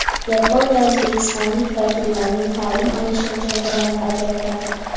Yaponiya O‘zbekiston vakillarining ta’lim olishi uchun grant ajratadi.